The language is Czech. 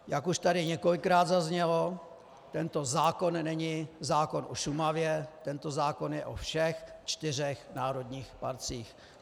Jak už tady několikrát zaznělo, tento zákon není zákon o Šumavě, tento zákon je o všech čtyřech národních parcích.